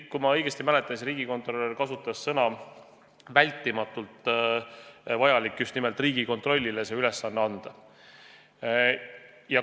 Kui ma õigesti mäletan, siis riigikontrolör kasutas sõnu, et peab olema "vältimatult vajalik" just nimelt Riigikontrollile see ülesanne anda.